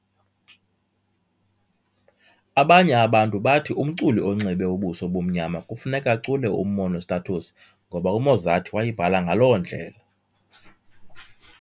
Abanye abantu bathi umculi onxibe ubuso obumnyama kufuneka acule uMonostatos ngoba uMozart wayibhala ngaloo ndlela.